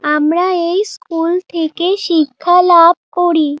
আমরা এই স্কুল থেকে শিক্ষা লাভ করি।